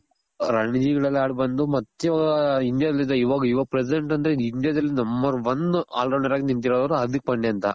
ರಣಜಿಗಳಲ್ಲಿ ಆಡಿ ಬಂದು ಮತ್ತೆ ಇವಾಗ India ಲಿಂದ ಇವಾಗ ಇವಾಗ್ present ಅಂದ್ರೆ India ದಲ್ಲಿ number one all rounder ಆಗಿ ನಿಂತಿರೋರು ಅಂದ್ರೆ ಹಾರ್ದಿಕ್ ಪಾಂಡೆ ಅಂತ